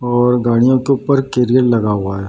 और गाड़ियों के उपर केरियल लगा हुआ है।